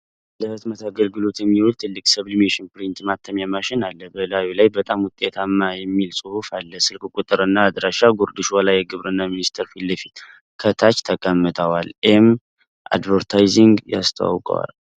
ለሕትመት አገልግሎት የሚውል ትልቅ ሰብሊሜሽን ፕሪንተር (ማተሚያ) ማሽን አለ። በላዩ ላይ "በጣም ውጤታማ" የሚል ጽሑፍ አለ። ስልክ ቁጥር እና አድራሻ (ጉርድ ሾላ የግብርና ሚኒስቴር ፊት ለፊት) ከታች ተቀምጠዋል። ኤም አድቨርታይዚንግ ያስተዋውቃል።